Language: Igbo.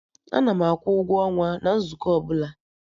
Ana akwụ ụgwọ ọnwa na nzukọ ọbụla